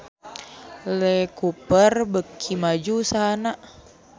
Lee Cooper beuki maju usahana